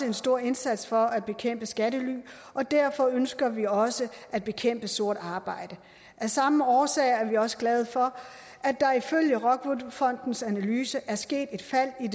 en stor indsats for at bekæmpe skattely og derfor ønsker vi også at bekæmpe sort arbejde af samme årsag er vi også glade for at der ifølge rockwool fondens analyse er sket et fald i